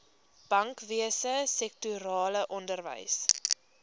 bankwese sektorale onderwys